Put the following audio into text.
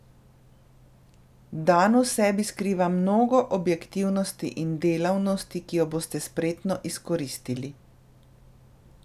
Dan v sebi skriva mnogo objektivnosti in delavnosti, ki jo boste spretno izkoristiti.